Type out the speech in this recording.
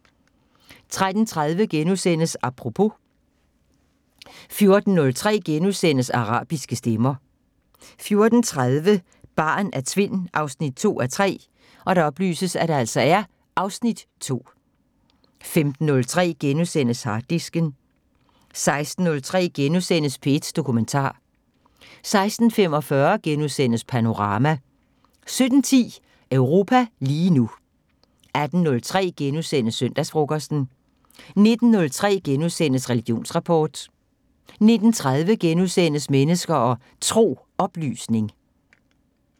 13:30: Apropos * 14:03: Arabiske stemmer * 14:30: Barn af Tvind 2:3 (Afs. 2) 15:03: Harddisken * 16:03: P1 Dokumentar * 16:45: Panorama * 17:10: Europa lige nu 18:03: Søndagsfrokosten * 19:03: Religionsrapport * 19:30: Mennesker og Tro: Oplysning *